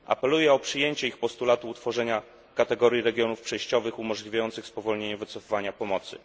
Apeluję o przyjęcie ich postulatu utworzenia kategorii regionów przejściowych, umożliwiającego spowolnienie wycofywania pomocy.